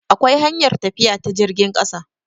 akwai hanyar tafiya ta jirgin ƙasa